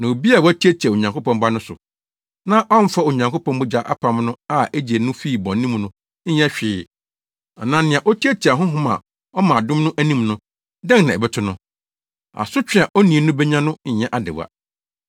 Na obi a watiatia Onyankopɔn Ba no so, na ɔmmfa Onyankopɔn mogya apam no a egyee no fii bɔne mu no nyɛ hwee anaa nea otiatia Honhom a ɔma adom no anim no, dɛn na ɛbɛto no? Asotwe a onii no benya no nyɛ adewa.